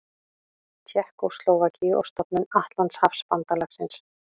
Tékkóslóvakíu og stofnun Atlantshafsbandalagsins.